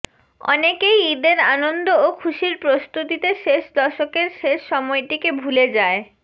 অনেকেই ঈদের আনন্দ ও খুশির প্রস্তুতিতে শেষ দশকের শেষ সময়টিকে ভুলে যায়